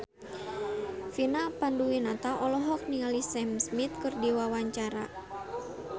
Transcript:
Vina Panduwinata olohok ningali Sam Smith keur diwawancara